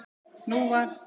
Nú var